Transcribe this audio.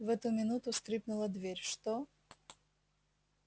в эту минуту скрипнула дверь что